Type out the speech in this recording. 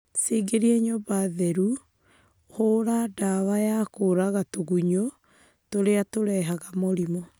Cingĩrie nyũmba theru na hũrĩ ndawa ya kũraga tũgunyũ tũrĩa tũrehaga mĩrimũ